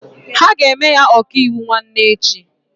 Ha ga-eme ya ọkaiwu nwanne echi.